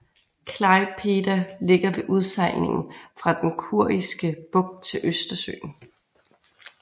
Klaipėda ligger ved udsejlingen fra den Kuriske Bugt til Østersøen